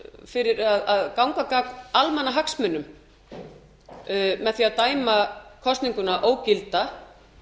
fyrir að ganga gegn almannahagsmunum með því að dæma kosninguna ógilda